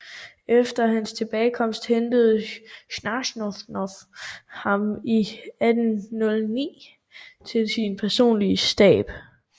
Efter hans tilbagekomst hentede Scharnhorst ham i 1809 til sin personlige Stab